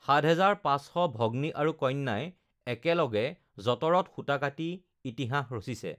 ৭, ৫০০ ভগ্নী আৰু কন্যাই একেলগে যঁতৰত সূতা কাটি ইতিহাস ৰচিছে